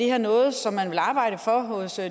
er noget som man vil arbejde for hos